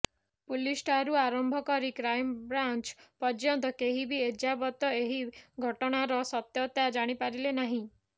ପୁଲିସଠାରୁ ଆରମ୍ଭ କରି କ୍ରାଇମ୍ବ୍ରାଞ୍ଚ ପର୍ଯ୍ୟନ୍ତ କେହି ବି ଏଯାବତ୍ ଏହି ଘଟଣାର ସତ୍ୟତା ଜାଣି ପାରିଲେ ନାହିଁ